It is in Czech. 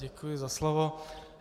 Děkuji za slovo.